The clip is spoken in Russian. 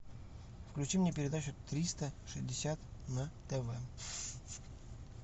включи мне передачу триста шестьдесят на тв